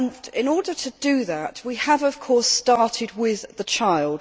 In order to do that, we have, of course, started with the child.